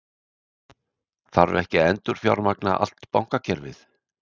Þarf ekki að endurfjármagna allt bankakerfið?